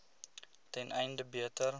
ten einde beter